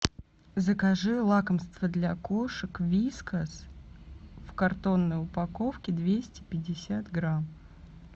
закажи лакомство для кошек вискас в картонной упаковке двести пятьдесят грамм